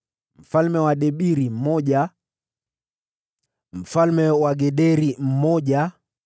mfalme wa Debiri mmoja mfalme wa Gederi mmoja